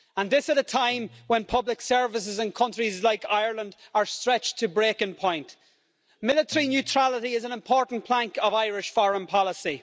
And this at a time when public services in countries like Ireland are stretched to breaking point. Military neutrality is an important plank of Irish foreign policy.